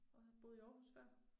Og har boet i Aarhus før